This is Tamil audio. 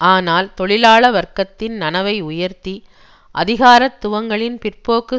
ஆனால் தொழிலாள வர்க்கத்தின் நனவை உயர்த்தி அதிகாரத்துவங்களின் பிற்போக்கு